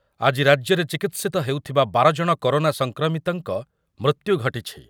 ଆଜି ରାଜ୍ୟରେ ଚିକିତ୍ସିତ ହେଉଥିବା ବାର ଜଣ କରୋନା ସଂକ୍ରମିତଙ୍କ ମୃତ୍ୟୁ ଘଟିଛି।